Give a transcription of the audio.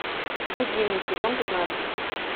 гудини сезон пятнадцать